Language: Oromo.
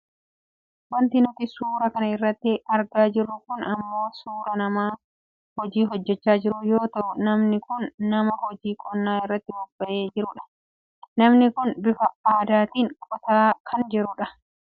wanti nti suuraa kan irratti argaa jirru kun ammoo suuraa nama hojii hojjachaa jiru yoo ta'u namni kun nama hojii qonnaa irratti bobba'ee jirudha. namni kun bifa aadaatiin qotaan kan jirudha.